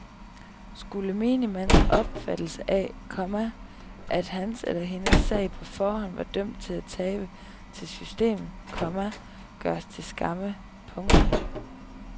Nu skulle menigmands opfattelse af, komma at hans eller hendes sag på forhånd var dømt til at tabe til systemet, komma gøres til skamme. punktum